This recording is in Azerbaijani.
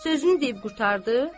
Sözünü deyib qurtardı,